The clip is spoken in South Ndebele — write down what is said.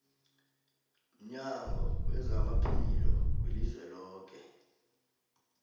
mnyango wezaphilo welizweloke